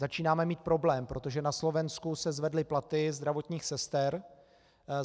Začínáme mít problém, protože na Slovensku se zvedly platy zdravotních sester.